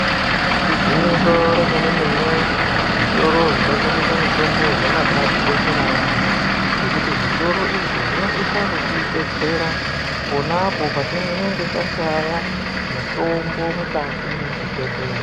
Igwinyiso remenemene zvitoro zvinotengesa mitombo zvakabakoshera yamho ngekuti zvitoro izvi zvinosisa kutibetsera konapo patinenge tashaya mutombo mukati mezvibhedhlera.